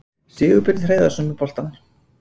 Sigurbjörn Hreiðarsson með boltann.